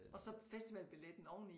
Og så festivalbilletten oveni